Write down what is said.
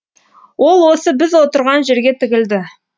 ол осы біз отырған жерге тігілді